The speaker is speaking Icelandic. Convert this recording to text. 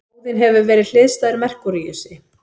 Óðinn hefur verið hliðstæður Merkúríusi.